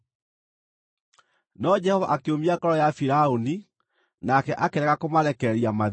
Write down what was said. No Jehova akĩũmia ngoro ya Firaũni, nake akĩrega kũmarekereria mathiĩ.